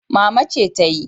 Mama ce tayi.